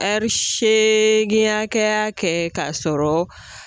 Ɛri seegin hakɛya kɛ k'a sɔrɔ